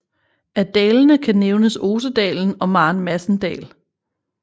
Af dalene kan nævnes Osedalen og Maren Madsen Dal